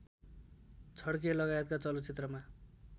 छड्के लगायतका चलचित्रमा